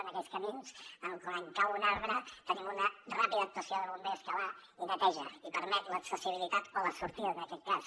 en aquells camins quan cau un arbre tenim una ràpida actuació de bombers que hi va i el neteja i permet l’accessibilitat o la sortida en aquest cas